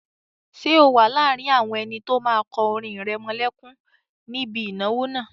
Ṣé o wà láàrin àwọn ẹni tó máa kọ orin ìrẹmọlẹ́kún níbi ìnáwó náà?